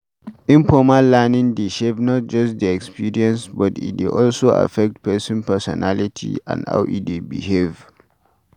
Informal learning dey shape not just di experience but e dey also affect person personality and how e dey behave